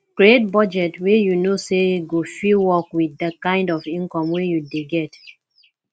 create budget wey you know say go fit work with the kind of income wey you dey get